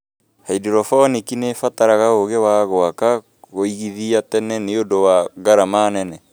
Haindorobonĩki nĩ ĩ bataraga ũũũgi wa gũaka kuĩgĩthia tene nĩũndu wa ngarama nene.